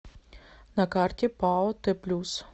на карте пао т плюс